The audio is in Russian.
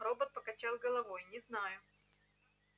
робот покачал головой не знаю